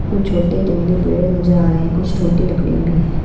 कुछ छोटे जंगली पेड़ नजर आ रहे हैं कुछ छोटी लकड़ियाँ भी हैं।